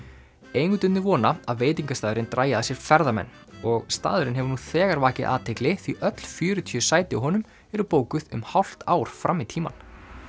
eigendurnir vona að veitingastaðurinn dragi að sér ferðamenn og staðurinn hefur nú þegar vakið athygli því öll fjörutíu sæti á honum eru bókuð um hálft ár fram í tímann